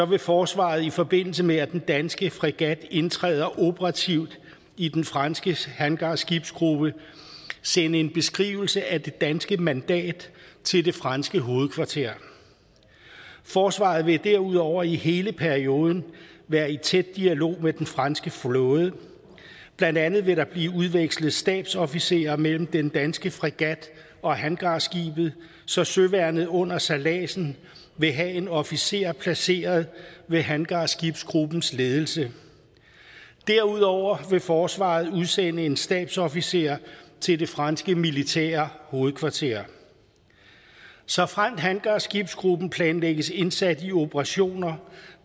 vil forsvaret i forbindelse med at den danske fregat indtræder operativt i den franske hangarskibsgruppe sende en beskrivelse af det danske mandat til det franske hovedkvarter forsvaret vil derudover i hele perioden være i tæt dialog med den franske flåde blandt andet vil der blive udvekslet stabsofficerer mellem den danske fregat og hangarskibet så søværnet under sejladsen vil have en officer placeret ved hangarskibsgruppens ledelse derudover vil forsvaret udsende en stabsofficer til det franske militære hovedkvarter såfremt hangarskibsgruppen planlægges indsat i operationer